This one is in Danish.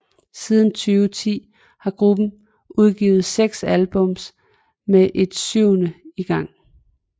Siden 2010 har gruppen udgivet 6 album med ett syvende i gang